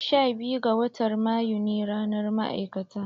Sha biyu ga watan mayu ne ranar ma'aikata.